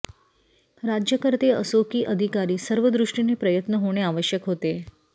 राज्यकर्ते असो की अधिकारी सर्वदृष्टीने प्रयत्न होणे आवश्यक होते